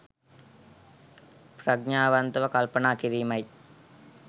ප්‍රඥාවන්තව කල්පනා කිරීමයි.